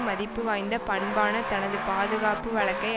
மதிப்பு வாய்ந்த பண்பான தனது பாதுகாப்பு வழக்கை